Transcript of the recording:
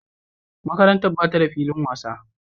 Makarantar ba ta da filin wasa.